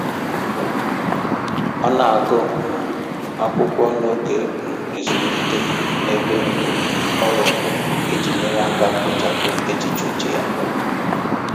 Ọ na-agụ um akwụkwọ n'oge um ezumike n'ebe um ọrụ iji nyere aka kpochapụ echiche uche ya